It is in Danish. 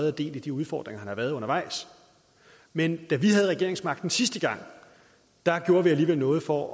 og del i de udfordringer der har været undervejs men da vi havde regeringsmagten sidste gang gjorde vi alligevel noget for